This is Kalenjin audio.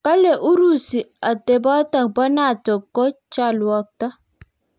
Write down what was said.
Kalee Urusi atepotok poo NATO ko chalwoktoo